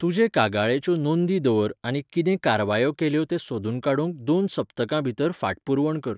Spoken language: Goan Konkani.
तुजे कागाळेच्यो नोंदी दवर आनी कितें कारवायो केल्यो तें सोदून काडूंक दोन सप्तकां भितर फाटपुरवण कर.